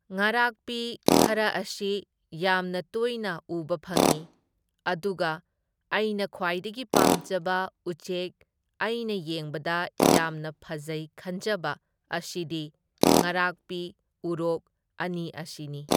ꯉꯥꯔꯥꯛꯄꯤ ꯈꯔ ꯑꯁꯤ ꯌꯥꯝꯅ ꯇꯣꯏꯅ ꯎꯕ ꯐꯪꯏ, ꯑꯗꯨꯒ ꯑꯩꯅ ꯈ꯭ꯋꯥꯏꯗꯒꯤ ꯄꯥꯝꯖꯕ ꯎꯆꯦꯛ ꯑꯩꯅ ꯌꯦꯡꯕꯗ ꯌꯥꯝꯅ ꯐꯖꯩ ꯈꯟꯖꯕ ꯑꯁꯤꯗꯤ ꯉꯥꯔꯥꯛꯄꯤ, ꯎꯔꯣꯛ ꯑꯅꯤ ꯑꯁꯤꯅꯤ꯫